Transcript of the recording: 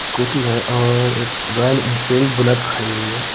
Scooty है और एक रॉयल इनफील्ड बुलेट खड़ी है।